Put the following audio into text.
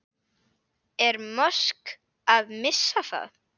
Er Musk að missa það?